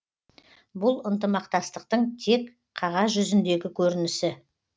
бұл ынтымақтастықтың тек қағаз жүзіндегі көрінісі